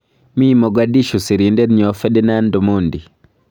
Mii Mogadishu sirindetnyo Ferdinand Omondi